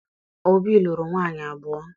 Obi lụrụ nwaanyị abụọ.